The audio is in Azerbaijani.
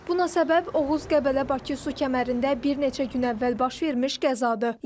Buna səbəb Oğuz-Qəbələ-Bakı su kəmərində bir neçə gün əvvəl baş vermiş qəzadır.